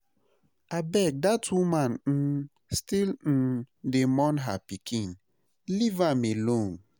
Abeg dat woman um still um dey mourn her pikin, leave am alone